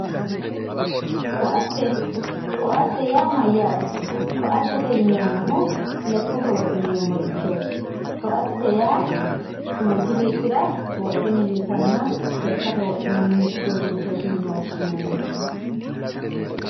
koaatte, koaatte yaa mayyaate? koaattete yineemmohu lekkate wodhineemmorichooti koaate yaa manchu beettira wodhe milisanno lekkate wodhinanni uduunnichooti yine woshshinanni.